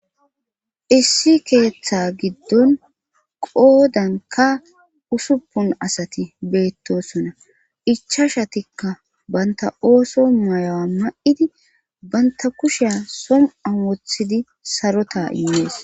issi keeththa giddon qoodan ka usuppun asati beettosonna ichashatikka banta ooso mayawa ma7idi banta kusheya som7an wothidi sarota immees